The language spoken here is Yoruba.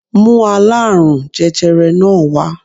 Mú aláàrùn jẹjẹrẹ náà wá